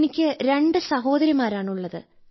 എനിക്ക് രണ്ട് സഹോദരിമാരാണ് ഉള്ളത്